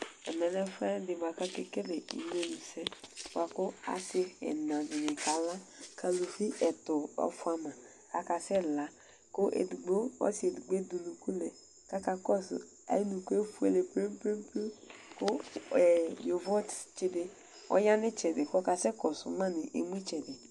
Ɛmɛlɛ ɛfuɛdi buaku akekele uwlenyi se buaku asi ɛna di kala ku aluvi ɛtudi fuama akasɛla ɔsi ɔsi edigbo di asɛ ayu unuku lɛ kakakɔsu ayɔ unuku efuele plem plem yovo tsitsi ɔya nu itsɛdi kɔkasɛkɔsuma nemu itsɛdi